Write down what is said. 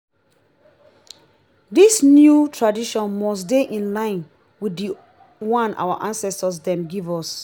dis new tradition must dey in line wit di one our ancestor dem give us.